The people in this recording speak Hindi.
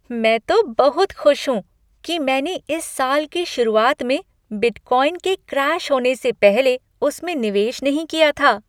मैं तो बहुत खुश हूँ कि मैंने इस साल की शुरुआत में बिटकॉइन के क्रैश होने से पहले उसमें निवेश नहीं किया था।